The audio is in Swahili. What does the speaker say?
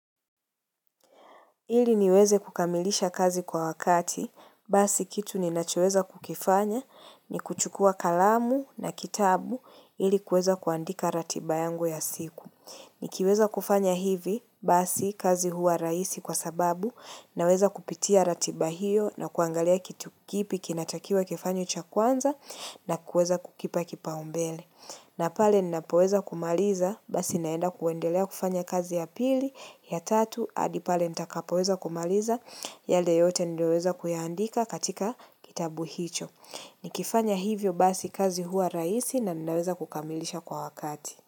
Ili niweze kukamilisha kazi kwa wakati, basi kitu ninachoweza kukifanya, ni kuchukua kalamu na kitabu ili kuweza kuandika ratiba yangu ya siku. Nikiweza kufanya hivi, basi kazi huwa rahisi kwa sababu, naweza kupitia ratiba hiyo na kuangalia kitu kipi kinatakiwa kifanywe cha kwanza na kuweza kukipa kipaumbele. Na pale ninapoweza kumaliza, basi naenda kuendelea kufanya kazi ya pili, ya tatu, hadi pale nitakapoweza kumaliza, yale yote niliyoweza kuyaandika katika kitabu hicho. Nikifanya hivyo basi kazi huwa rahisi naniweza kukamilisha kwa wakati.